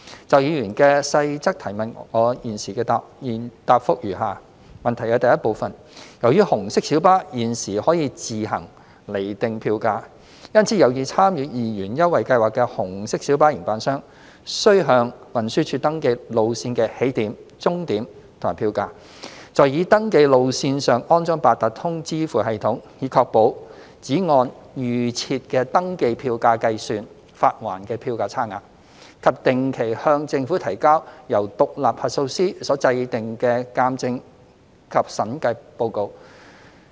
就議員的細項質詢，我現答覆如下：一由於紅色小巴現時可以自行釐定票價，因此有意參與二元優惠計劃的紅色小巴營辦商，須向運輸署登記路線的起點、終點及票價；在已登記路線上安裝八達通支付系統，以確保只按預設的登記票價計算發還的票價差額；以及定期向政府提交由獨立核數師所制訂的鑒證及審計報告。